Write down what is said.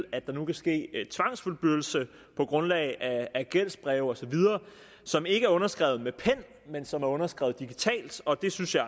at der nu kan ske tvangsfyldbyrdelse på grundlag af gældsbreve osv som ikke er underskrevet med pen men som er underskrevet digitalt og det synes jeg